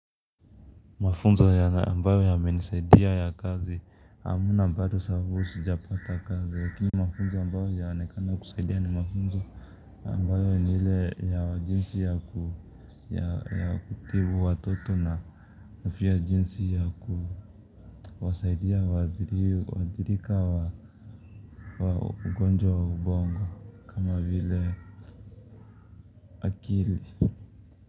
Mafunzo ya ambayo yamenisaidia ya kazi hamna bado sababu sijapata kazi lakini mafunzo ya ambayo yanaonekana kusaidia ni mafunzo ambayo ni ile ya wa jinsi ya kutibu watoto na pia jinsi ya kuwasaidia waathirika wa ugonjwa wa ubongo kama vile akili.